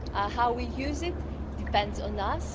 How we use it depends on us.